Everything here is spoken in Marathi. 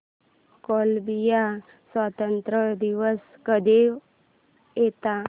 कोलंबिया स्वातंत्र्य दिवस कधी येतो